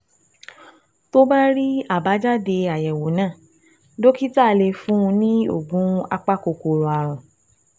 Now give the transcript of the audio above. Tó bá rí àbájáde àyẹ̀wò náà, dókítà lè fún un ní oògùn apakòkòrò ààrùn